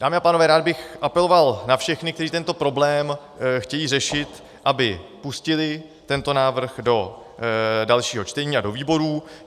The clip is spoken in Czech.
Dámy a pánové, rád bych apeloval na všechny, kteří tento problém chtějí řešit, aby pustili tento návrh do dalšího čtení a do výborů.